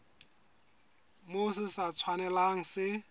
moo se sa tshwanelang se